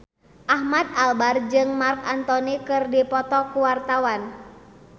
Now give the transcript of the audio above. Ahmad Albar jeung Marc Anthony keur dipoto ku wartawan